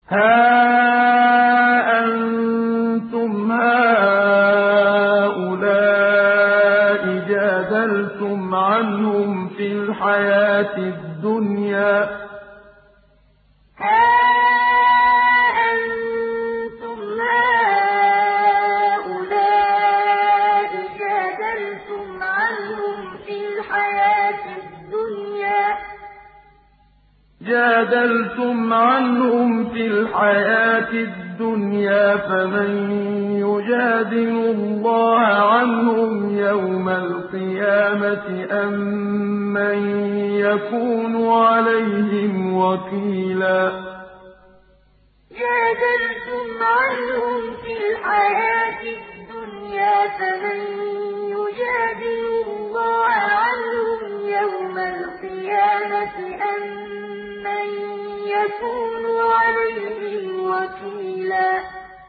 هَا أَنتُمْ هَٰؤُلَاءِ جَادَلْتُمْ عَنْهُمْ فِي الْحَيَاةِ الدُّنْيَا فَمَن يُجَادِلُ اللَّهَ عَنْهُمْ يَوْمَ الْقِيَامَةِ أَم مَّن يَكُونُ عَلَيْهِمْ وَكِيلًا هَا أَنتُمْ هَٰؤُلَاءِ جَادَلْتُمْ عَنْهُمْ فِي الْحَيَاةِ الدُّنْيَا فَمَن يُجَادِلُ اللَّهَ عَنْهُمْ يَوْمَ الْقِيَامَةِ أَم مَّن يَكُونُ عَلَيْهِمْ وَكِيلًا